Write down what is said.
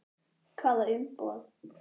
Hvaða umboð?